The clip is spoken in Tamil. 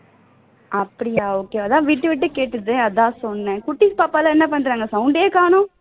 அப்படியா okay அதான் விட்டு விட்டு கேட்டது அதான் சொன்னேன் குட்டி பாப்பா எல்லாம் என்ன பண்றாங்க sound டே காணோம்